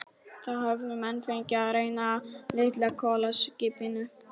Það höfðu menn fengið að reyna á litla kolaskipinu